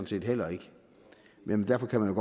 set heller ikke men derfor kan man